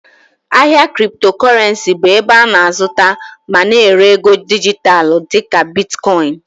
Ahịa Cryptocurrency bụ ebe a na-azụta ma na-ere ego dijitalụ dịka Bitkọin